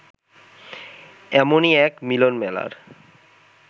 এমনই এক মিলনমেলার